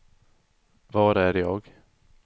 var är jag